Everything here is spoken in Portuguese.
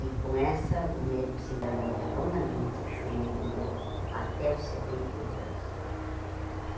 E com essa, o médico se enganou redondamente, que ele durou até os setenta e oito anos.